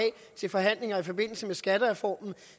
til forhandlinger i forbindelse med skattereformen